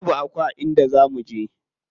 Babu Aku a inda za muje.